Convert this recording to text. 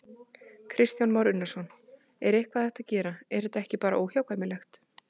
Kristján Már Unnarsson: En er eitthvað hægt að gera, er þetta ekki bara óhjákvæmilegt?